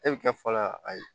E bɛ kɛ fɔlɔ ayi